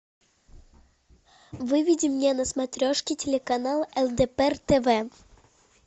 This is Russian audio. выведи мне на смотрешке телеканал лдпр тв